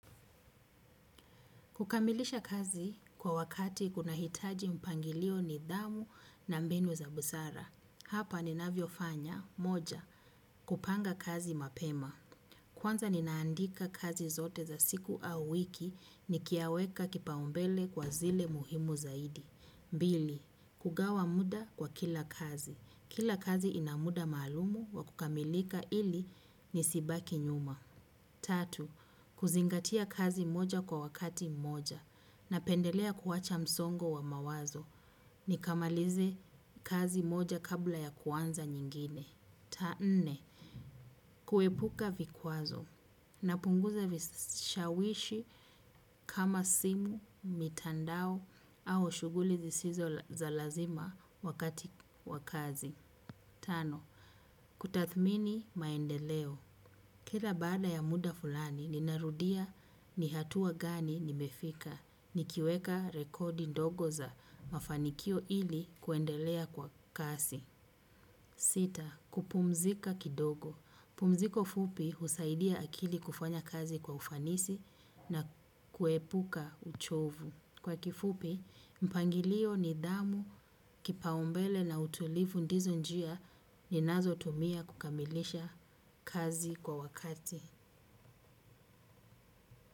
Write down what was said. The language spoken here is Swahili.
Kukamilisha kazi kwa wakati kuna hitaji mpangilio, nidhamu na mbinu za busara. Hapa ninavyo fanya, moja, kupanga kazi mapema kwanza ninaandika kazi zote za siku au wiki nikiyaweka kipau mbele kwa zile muhimu zaidi mbili, hugawa muda kwa kila kazi. Kila kazi ina muda maalumu wa kukamilika ili nisibaki nyuma. Tatu, kuzingatia kazi moja kwa wakati mmoja. Napendelea kuwacha msongo wa mawazo. Nikamalize kazi moja kabla ya kuanza nyingine cha nne. Kuepuka vikwazo. Napunguza vishawishi kama simu, mitandao au shughuli zisizo za lazima wakati wa kazi. Tano. Kutathmini maendeleo. Kila baada ya muda fulani, ninarudia ni hatua gani nimefika. Nikiweka rekodi ndogo za mafanikio ili kuendelea kwa kasi. Sita, kupumzika kidogo, pumziko fupi husaidia akili kufanya kazi kwa ufanisi na kuepuka uchovu. Kwa kifupi, mpangilio nidhamu kipau mbele na utulivu ndizo njia ninazo tumia kukamilisha kazi kwa wakati.